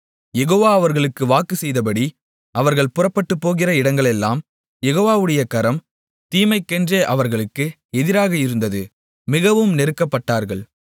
யெகோவா அவர்களுக்கு வாக்கு செய்தபடி அவர்கள் புறப்பட்டுப்போகிற இடங்களெல்லாம் யெகோவாவுடைய கரம் தீமைக்கென்றே அவர்களுக்கு எதிராக இருந்தது மிகவும் நெருக்கப்பட்டார்கள்